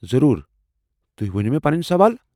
ضروٗر، تُہی ؤنو مے٘ پنٕنۍ سوال۔